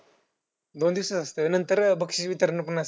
दोन दिवसाचं असतंय व्हयं? नंतर बक्षीस वितरण पण असतं.